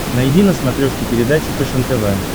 найди на смотрешке передачу фэшен тв